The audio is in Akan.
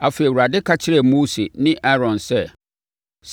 Afei, Awurade ka kyerɛɛ Mose ne Aaron sɛ,